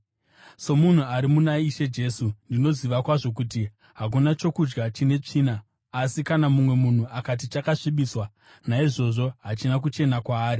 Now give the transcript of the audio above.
Somunhu ari muna Ishe Jesu, ndinoziva kwazvo kuti hakuna chokudya chine tsvina. Asi kana mumwe munhu akati chakasvibiswa, naizvozvo hachina kuchena kwaari.